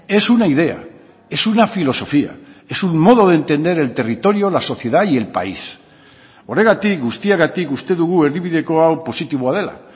es una idea es una filosofía es un modo de entender el territorio la sociedad y el país horregatik guztiagatik uste dugu erdibideko hau positiboa dela